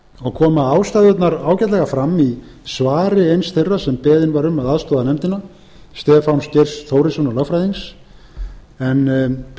og koma ástæðurnar ágætlega fram í svari eins þeirra sem beðinn var um að aðstoða nefndina stefáns geirs þórissonar lögfræðings en